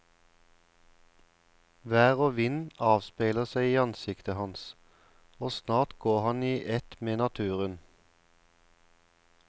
Vær og vind avspeiler seg i ansiktet hans, og snart går han i ett med naturen.